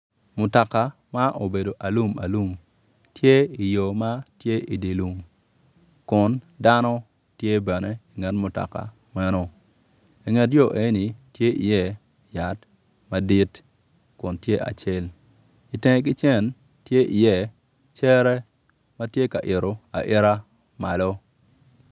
Mutoka ma obedo alum alum tye i yo matye i di lum kun dano tye bene inget mutoka meno inget yo enoni tye i tye yat madit kun tye acel, itenge ki cen tye i ye cere matye ka yito ayita malo.